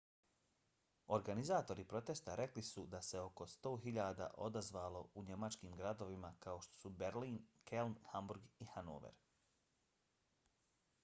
organizatori protesta rekli su da se oko 100.000 odazvalo u njemačkim gradovima kao što su berlin keln hamburg i hanover